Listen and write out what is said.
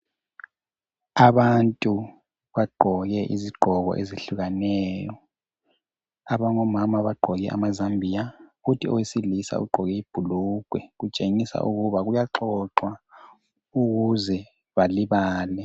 Abantu bagqoke izigqoko ezehlukaneyo abangomama bagqoke amazambiya kuthi owesilisa ugqoke ibhulgwe kutshengisa ukuthi kuyaxoxwa ukuze balibale.